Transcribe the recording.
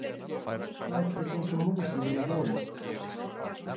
Læddist einsog mús í mína holu.